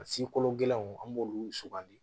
Sikolokolow an b'olu sugandi